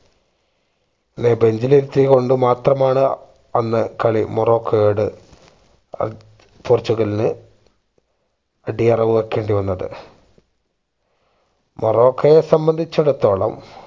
നെ bench ഇൽ ഇരുത്തി കൊണ്ട് മാത്രമാണ് അന്ന് കളി മൊറോക്കയോട് ഏർ പോർച്ചുഗലിന് അടിയറവ് വെക്കേണ്ടി വന്നത് മൊറോക്കയെ സംബന്ധിച്ചെടുത്തോളം